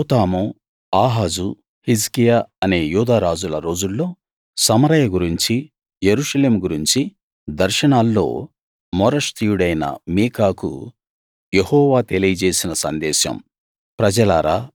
యోతాము ఆహాజు హిజ్కియా అనే యూదా రాజుల రోజుల్లో సమరయ గురించి యెరూషలేము గురించి దర్శనాల్లో మోరష్తీయుడైన మీకాకు యెహోవా తెలియజేసిన సందేశం